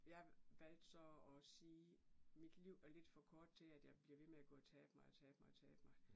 Jeg valgte så og sige mit liv er lidt for kort til at jeg bliver ved med at gå og tabe mig og tabe mig og tabe mig